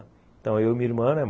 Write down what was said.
Então eu e minha irmã, né?